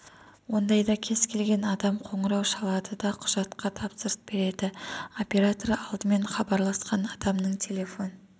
ондайда кез келген адам қоңырау шалады да құжатқа тапсырыс береді оператор алдымен іабарласқан адамның телефон